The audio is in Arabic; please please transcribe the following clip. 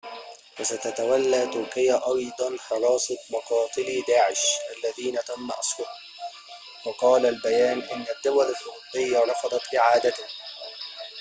وستتولى تركيا أيضاً حراسة مقاتلي داعش الذين تم أسرهم وقال البيان إن الدول الأوروبية رفضت إعادتهم